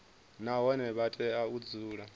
nahone vha tea u dzula